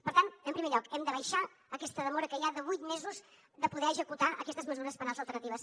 per tant en primer lloc hem de baixar aquesta demora que hi ha de vuit mesos de poder executar aquestes mesures penals alternatives